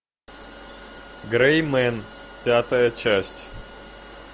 грей мен пятая часть